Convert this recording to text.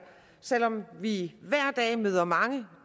selv om vi hver dag møder mange